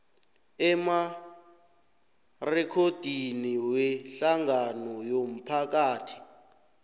emarekhodini wehlangano yomphakathi